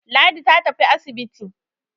Ladi ta tafi asibiti.